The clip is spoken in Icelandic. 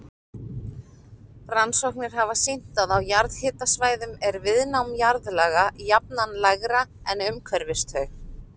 Rannsóknir hafa sýnt að á jarðhitasvæðum er viðnám jarðlaga jafnan lægra en umhverfis þau.